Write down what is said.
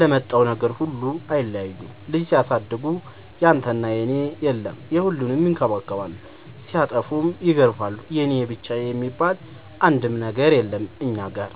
ለመጣው ነገር ሁሉ አይለያዩም ልጅ ሲያሳድጉ ያንተና የኔ የለም የሁሉንም ይከባከባሉ ሲጠፉም ይገርፋሉ የኔ የብቻዬ የሚባል አንድም ነገር የለም እኛ ጋር።